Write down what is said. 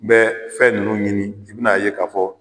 N bɛ fɛ nunnu ɲini i bɛ na ye ka fɔ.